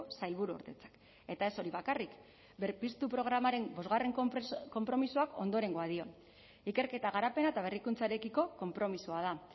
sailburuordetzak eta ez hori bakarrik berpiztu programaren bosgarren konpromisoak ondorengoa dio ikerketa garapena eta berrikuntzarekiko konpromisoa da